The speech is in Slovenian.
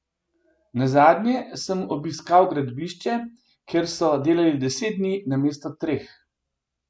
Nazadnje sem obiskal gradbišče, ker so delali deset dni namesto treh.